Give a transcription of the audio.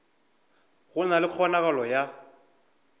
go na le kgonagalo ya